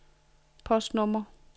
postnummer